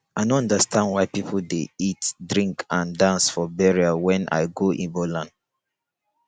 i no understand why people dey eatdrink and dance for burial wen i go igbo land